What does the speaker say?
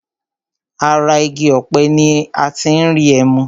Ara igi ọ̀pẹ ní a tí n rí ẹmu.